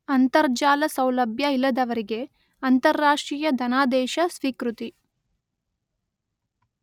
ಅಂತರಜಾಲ ಸೌಲಭ್ಯ ಇಲ್ಲದವರಿಗೆ ಅಂತಾರಾಷ್ಟ್ರೀಯ ಧನಾದೇಶ ಸ್ವೀಕೃತಿ